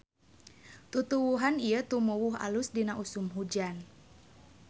Tutuwuhan ieu tumuwuh alus dina usum hujan.